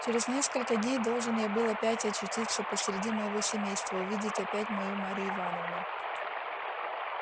через несколько дней должен я был опять очутиться посреди моего семейства увидеть опять мою марью ивановну